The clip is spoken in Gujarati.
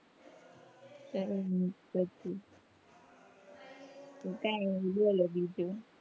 હમ તો કઈ ની બોલો બીજું,